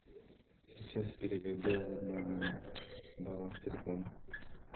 сейчас переведу на баланс телефона